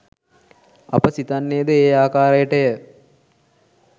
අප සිතන්නේද ඒ ආකාරයටය